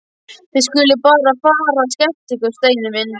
Þið skuluð bara fara að skemmta ykkur, Steini minn.